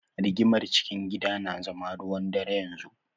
Rigimar cikin gida na zama ruwan-dare yanzu.